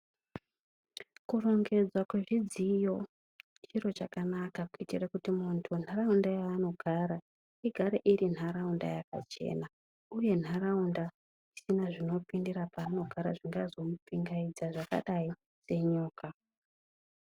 Kurongedzwa kwezvidziyo chiro chakanaka, kuita kuti mundaraunda yaanogara, igare iri nharaunda yakachena uye nharaunda isina zvinopindira paanogara zvingazomupingaidza zvakadai senyoka.